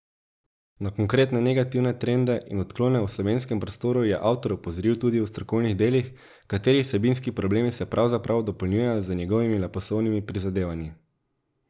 Na konkretne negativne trende in odklone v slovenskem prostoru je avtor opozoril tudi v strokovnih delih, katerih vsebinski problemi se pravzaprav dopolnjujejo z njegovimi leposlovnimi prizadevanji.